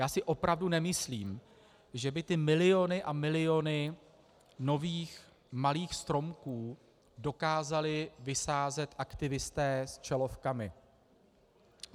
Já si opravdu nemyslím, že by ty miliony a miliony nových malých stromků dokázali vysázet aktivisté s čelovkami.